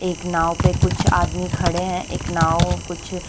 एक नाव पे कुछ आदमी खड़े है एक नाव कुछ --